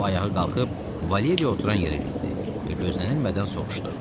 O ayağa qalxıb Valeriya oturan yerə getdi və gözlənilmədən soruşdu: